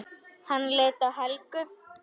Hann leit til Helgu.